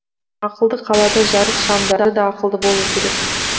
ақылды қалада жарық шамдары да ақылды болуы керек